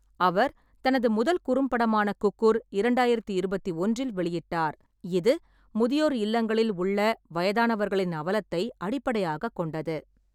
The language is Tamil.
அவர் தனது முதல் குறும்படமான குக்கூர் இரண்டாயிரத்தி இருபத்தி ஒன்றில் வெளியிட்டார், இது முதியோர் இல்லங்களில் உள்ள வயதானவர்களின் அவலத்தை அடிப்படையாகக் கொண்டது.